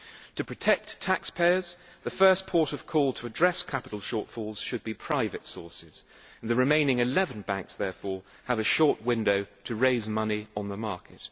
To protect taxpayers, the first port of call to address capital shortfalls should be private sources, and the remaining 11 banks therefore have a short window to raise money on the market.